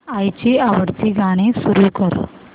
आईची आवडती गाणी सुरू कर